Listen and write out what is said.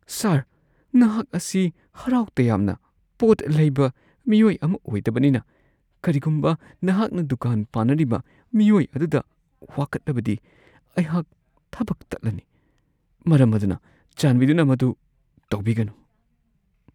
ꯁꯥꯔ, ꯑꯩꯍꯥꯛ ꯑꯁꯤ ꯍꯔꯥꯎ ꯇꯌꯥꯝꯅ ꯄꯣꯠ ꯂꯩꯕ ꯃꯤꯑꯣꯏ ꯑꯃ ꯑꯣꯏꯗꯕꯅꯤꯅ ꯀꯔꯤꯒꯨꯝꯕ ꯅꯍꯥꯛꯅ ꯗꯨꯀꯥꯟ ꯄꯥꯟꯅꯔꯤꯕ ꯃꯤꯑꯣꯏ ꯑꯗꯨꯗ ꯋꯥꯀꯠꯂꯕꯗꯤ, ꯑꯩꯍꯥꯛꯀꯤ ꯊꯕꯛ ꯇꯠꯂꯅꯤ, ꯃꯔꯝ ꯑꯗꯨꯅ ꯆꯥꯟꯕꯤꯗꯨꯅ ꯃꯗꯨ ꯇꯧꯕꯤꯒꯅꯨ ꯫ (ꯗꯨꯀꯥꯟꯒꯤ ꯀ꯭ꯂꯔ꯭ꯛ)